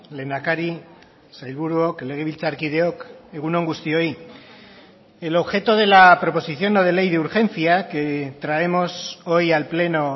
lehendakari sailburuok legebiltzarkideok egun on guztioi el objeto de la proposición no de ley de urgencia que traemos hoy al pleno